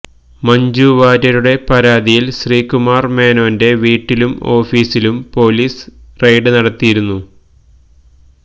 മഞ്ജു വാര്യരുടെ പരാതിയില് ശ്രീകുമാര് മേനോന്റെ വീട്ടിലും ഓഫീസിലും പൊലീസ് റെയ്ഡ് നടത്തിയിരുന്നു